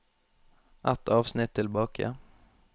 Ett avsnitt tilbake